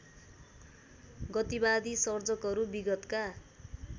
गतिवादी सर्जकहरू विगतका